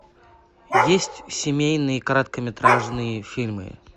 есть семейные короткометражные фильмы